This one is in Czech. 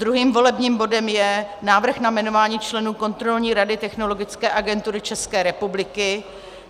Druhým volebním bodem je návrh na jmenování členů Kontrolní rady Technologické agentury České republiky.